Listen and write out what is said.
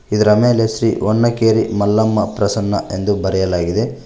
ಇದರ ಮೇಲೆ ಶ್ರೀ ಹೊನ್ನಕೇರಿ ಮಲ್ಲಮ್ಮ ಪ್ರಸನ್ನ ಎಂದು ಬರೆಯಲಾಗಿದೆ.